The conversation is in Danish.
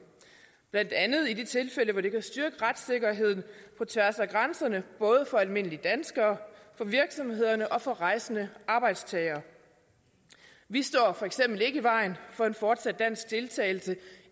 blandt andet i de tilfælde hvor det kan styrke retssikkerheden på tværs af grænserne for almindelige danskere for virksomhederne og for rejsende arbejdstagere vi står for eksempel ikke i vejen for en fortsat dansk deltagelse